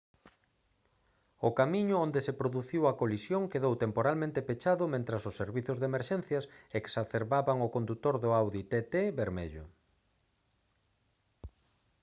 o camiño onde se produciu a colisión quedou temporalmente pechado mentres os servizos de emerxencias excarceraban ao condutor do audi tt vermello